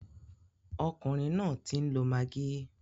Ọkùnrin náà ń tí lọ maggi.